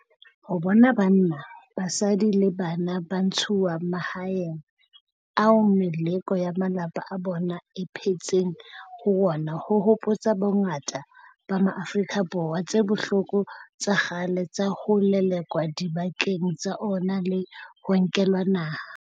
Ho bona banna, basadi le bana ba ntshuwa mahaeng ao meloko ya malapa a bona e phetseng ho ona ho hopotsa bongata ba Maafrika Borwa tse bohloko tsa kgale tsa ho lelekwa dibakeng tsa ona le ho nkelwa naha.